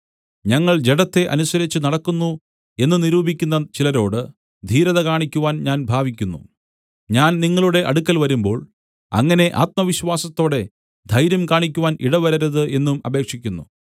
ഞങ്ങൾ ജഡത്തെ അനുസരിച്ച് നടക്കുന്നു എന്ന് നിരൂപിക്കുന്ന ചിലരോട് ധീരത കാണിക്കുവാൻ ഞാൻ ഭാവിക്കുന്നു ഞാൻ നിങ്ങളുടെ അടുക്കൽ വരുമ്പോൾ അങ്ങനെ ആത്മവിശ്വാസത്തോടെ ധൈര്യം കാണിക്കുവാൻ ഇടവരരുത് എന്നും അപേക്ഷിക്കുന്നു